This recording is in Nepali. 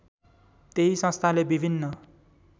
त्यही संस्थाले विभिन्न